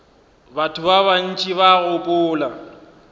batho ba bantši ba gopola